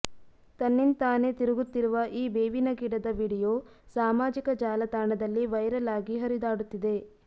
ತನ್ನಿಂತಾನೆ ತಿರುಗುತ್ತಿರುವ ಈ ಬೇವಿನಗಿಡದ ವಿಡಿಯೋ ಸಾಮಾಜಿಕ ಜಾಲತಾಣದಲ್ಲಿ ವೈರಲ್ ಆಗಿ ಹರಿದಾಡುತ್ತಿದೆ